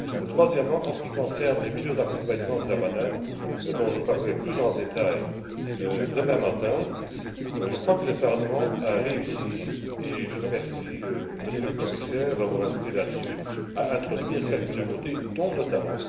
Troisièmement, en ce qui concerne les mesures d'accompagnement de la banane dont je parlerai plus en détails demain matin je crois que le Parlement a réussi et je remercie Monsieur le Commissaire d'avoir insisté sur ce point à introduire quelques nouveautés, notamment